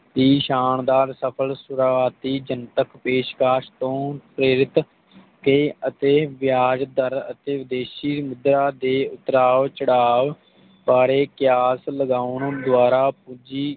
ਦੀ ਸ਼ਾਨਦਾਰ ਸਫਲ ਸ਼ੁਰੂਵਾਤੀ ਚਿੰਤਕ ਪੈਸ਼ਕਾਸ਼ ਤੋਂ ਪ੍ਰੇਰਿਤ ਹੋ ਕੇ ਅਤੇ ਵੇਆਜ ਦਰ ਅਤੇ ਵਿਦੇਸ਼ੀ ਮੁਦਰਾ ਦੇ ਉਤਰਾਓ ਚੜ੍ਹਾਓ ਬਾਰੇ ਕਲਾਸ ਲਗਾਉਣ ਦੁਆਰਾ ਪੂੰਜੀ